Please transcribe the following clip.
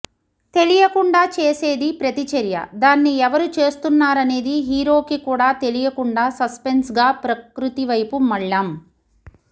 తెలియకుండా చేసేది ప్రతిచర్య దాన్ని ఎవరు చేస్తున్నారనేది హీరోకి కూడా తెలీయకుండా సస్పెన్స్గా ప్రకృతివైపు మళ్లాం